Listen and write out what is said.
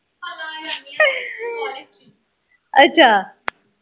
ਅੱਛਾ